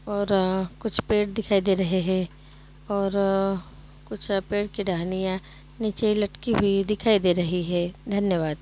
और आ कुछ पेड़ दिखाई दे रहे हैं और आ कुछ पेड़ की टहनियां नीचे लटकी हुई दिखाई दे रही है धन्यवाद।